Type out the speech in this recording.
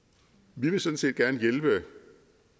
vi vil sådan set gerne hjælpe